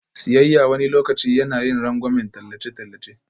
Siyayya wani lokaci yana yin rangwamen tallace-tallace.